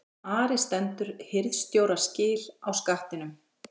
ARI STENDUR HIRÐSTJÓRA SKIL Á SKATTINUM